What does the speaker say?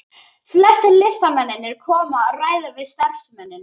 Flestir listamennirnir koma og ræða við starfsmennina.